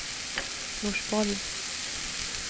Norsborg